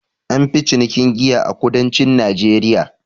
An fi cinikin giya a kudancin najeriya